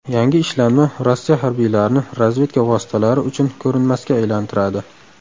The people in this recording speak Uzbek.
Yangi ishlanma Rossiya harbiylarini razvedka vositalari uchun ko‘rinmasga aylantiradi.